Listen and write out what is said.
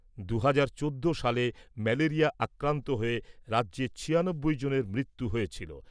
দুহাজার চোদ্দ সালে ম্যালেরিয়া আক্রান্ত হয়ে রাজ্যে ছিয়ানব্বই জনের মৃত্যু হয়েছিল।